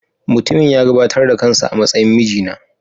Mutumin ya gabatar da kansa a matsayin mijina.